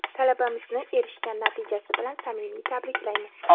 Talabamizni erishgan natijasi bilan samimiy tabriklaymiz!.